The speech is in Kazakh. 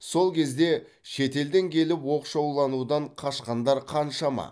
сол кезде шетелден келіп оқшауланудан қашқандар қаншама